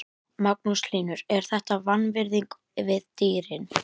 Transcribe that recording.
Magnús Hlynur: Er þetta vanvirðing við dýrin?